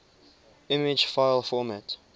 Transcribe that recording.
image file format